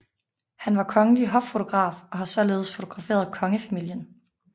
Han var kongelig hoffotograf og har således fotograferet kongefamilien